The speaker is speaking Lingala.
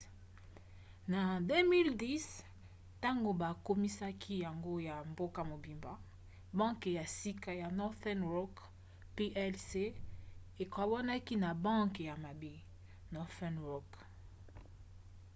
na 2010 ntango bakomisaki yango ya mboka mobimba banke ya sika ya northern rock plc ekabwanaka na 'banke ya mabe' northern rock asset management